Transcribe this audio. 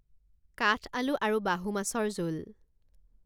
কাঠ আলু আৰু বাহু মাছৰ জোল